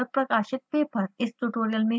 इस tutorial में हमने सीखा: